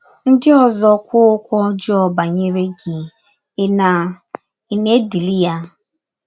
Ndị ọzọ kwụọ ọkwụ ọjọọ banyere gị, ị̀ na, ị̀ na - edili ya?